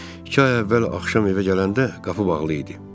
İki ay əvvəl axşam evə gələndə qapı bağlı idi.